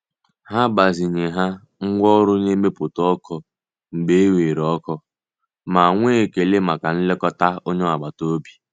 Ha gbazinye ha ngwa oru na-emeputa oku mgbe e weere oku ma nwee ekele maka nlekọta onye agbata obi.